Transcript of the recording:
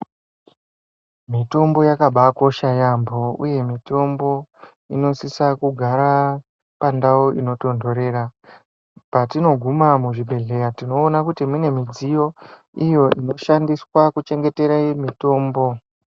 Mitombo yakabaakosha yaambo uye mitombo inosisa kugara pandau inotondorera patinoguma muzvibhedhlera tinoona kuti mune midziyo iyo inoshandiswa kuchengetera mitombo .